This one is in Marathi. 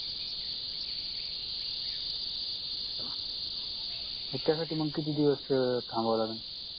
मग त्यासाठी मंग किती दिवस अं थांबावं लागलं